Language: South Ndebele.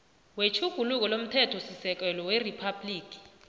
wetjhuguluko lomthethosisekelo weriphabhligi